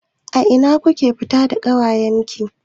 Ina kuka fita da ƙawayen ki?